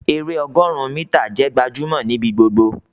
èrè ọgọrun mítà jẹ gbajúmò nibi gbogbo